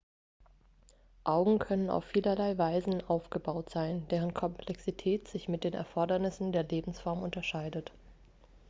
augen können auf vielerlei weisen aufgebaut sein deren komplexität sich mit den erfordernissen der lebensform unterscheidet